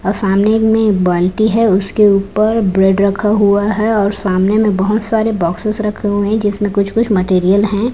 और सामने में एक बाल्टी है उसके ऊपर ब्रेड रखा हुआ है और सामने में बहोत सारे बॉक्सेस रखे हुए हैं जिसमें कुछ कुछ मटेरियल है।